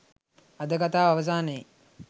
අද කතාව අවසානයේ